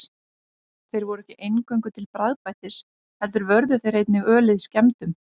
Þeir voru ekki eingöngu til bragðbætis heldur vörðu þeir einnig ölið skemmdum.